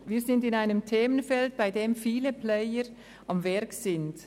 Wir befinden uns in einem Themenfeld, in welchem viele Player am Werk sind.